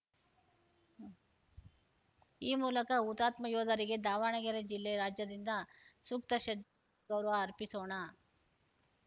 ಈ ಮೂಲಕ ಹುತಾತ್ಮ ಯೋಧರಿಗೆ ದಾವಣಗೆರೆ ಜಿಲ್ಲೆ ರಾಜ್ಯದಿಂದ ಸೂಕ್ತ ಶ್ರದ್ಧ ಗೌರವ ಅರ್ಪಿಸೋಣ